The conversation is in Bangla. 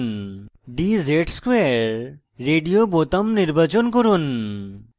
dz ^ 2 radio বোতাম নির্বাচন করুন